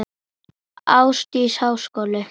Ásdís: Háskóli?